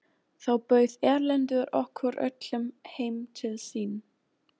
Þá bauð Erlendur okkur öllum heim til sín.